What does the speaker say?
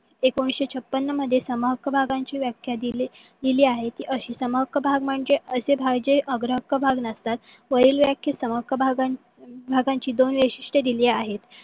एकोणविसशे छापन्न मध्ये सम हक्क भागांची व्याख्या दिलेली आहे. ती अशी समहक्क भाग म्हणजे असे भाग जे अग्र हक्क भाग नसतात. वरील व्याखेत सम हक्क भागांची दोन वैशिष्ट्ये दिलेली आहे.